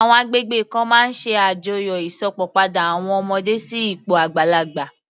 Àwọn agbègbè kan máa ń ṣe àjọyọ̀ Ìsópọ̀ padà àwọn ọmọdé sí ipò àgbàlagbà